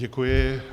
Děkuji.